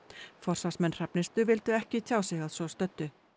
forsvarsmenn Hrafnistu vildu ekki tjá sig að svo stöddu